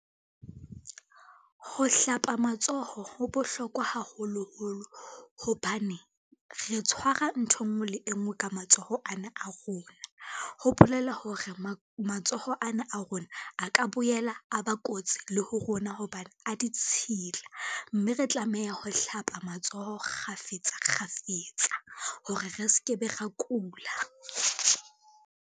Ho hlapa matsoho ho bohlokwa haholoholo, hobane re tshwara ntho e ngwe le e ngwe ka matsoho ana a rona. Ho bolela hore matsoho a na a rona, a ka boela a ba kotsi le ho rona hobane a ditshila, mme re tlameha ho hlapa matsoho kgafetsa kgafetsa hore re ske be ra kula.